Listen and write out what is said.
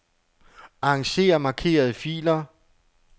Arranger markerede filer.